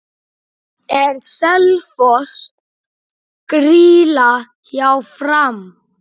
Er Selfoss grýla hjá Fram?